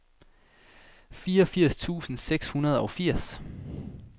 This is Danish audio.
fireogfirs tusind seks hundrede og firs